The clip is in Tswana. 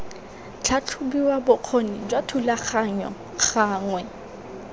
tlhatlhobiwa bokgoni jwa thulaganyo gangwe